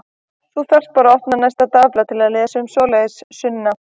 Þú þarft bara að opna næsta dagblað til að lesa um svoleiðis, Sunna.